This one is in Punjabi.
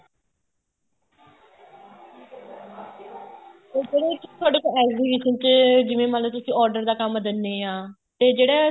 ਉਹ ਕਿਹੜੇ ਚ ਵਿੱਚ ਤੁਹਾਡੇ ਕੋਲ exhibition ਤੇ ਜਿਵੇਂ ਮੰਨਲੋ order ਦਾ ਕੰਮ ਦਿੰਨੇ ਆ ਤੇ ਜਿਹੜਾ